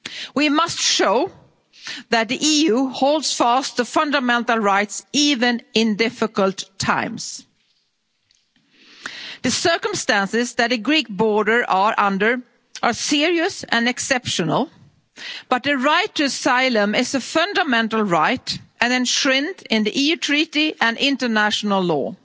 We must show that the EU holds fast the fundamental rights even in difficult times. The circumstances that the Greek border is under are serious and exceptional, but the right to asylum is a fundamental right and enshrined in the EU Treaty and international